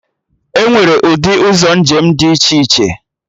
Enwere ụdị ụzọ njem dị iche iche